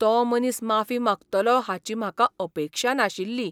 तो मनीस माफी मागतलो हाची म्हाका अपेक्षा नाशिल्ली.